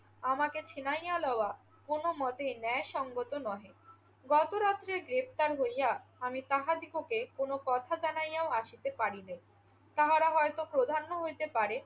আমাকে ছিনাইয়া লওয়া কোনো মতেই ন্যায়সঙ্গত নহে। গত রাত্রে গ্রেফতার হইয়া আমি তাহাদিগকে কোনো কথা জানাইয়াও আসিতে পারি নাই। তাহারা হয়ত প্রধান্য হইতে পারে